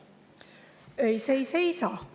Ei, see ei seisa.